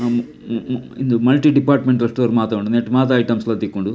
ಉಂದು multi departmental store ಮಾತ ಉಂಡು ನೆಟ್ಟ್ ಮಾತ ಐಟೆಮ್ಸ್ ಲ ಲ ತಿಕ್ಕುಂಡು.